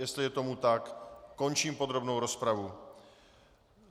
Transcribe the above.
Jestli je tomu tak, končím podrobnou rozpravu.